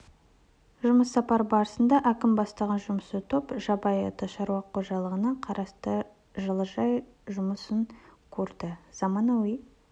жұмыс сапары барысында әкім бастаған жұмысшы топ жабай ата шаруа қожалығына қарасты жылыжай жұмысын көрді заманауи